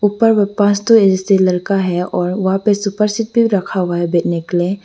ऊपर में लरका है और वहां पर सुपर सीट भी रखा हुआ है बैठने के लिए।